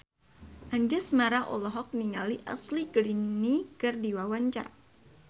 Anjasmara olohok ningali Ashley Greene keur diwawancara